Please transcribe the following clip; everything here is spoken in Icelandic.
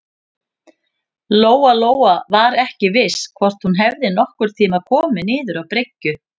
Lóa-Lóa var ekki viss hvort hún hefði nokkurn tíma komið niður á bryggju.